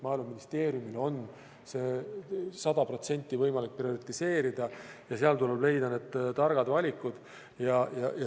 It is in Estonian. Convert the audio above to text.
Maaeluministeeriumil on seda 100% võimalik prioriseerida ja seal tuleb leida targad valikud.